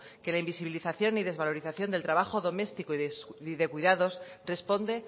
que el invisibilización y desvalorización del trabajo doméstico y de cuidados responde